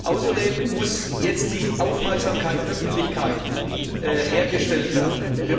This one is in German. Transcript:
Außerdem muss jetzt die Aufmerksamkeit der Öffentlichkeit hergestellt werden.